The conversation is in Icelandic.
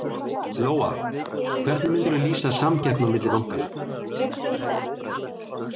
Lóa: Hvernig myndirðu lýsa samkeppninni á milli bankanna?